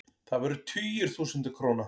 Það voru tugir þúsunda króna.